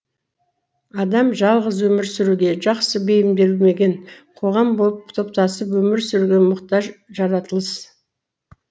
адам жалғыз өмір сүруге жақсы бейімделмеген қоғам болып топтасып өмір сүруге мұқтаж жаратылыс